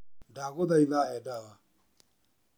Ndagũthaitha, he ndawa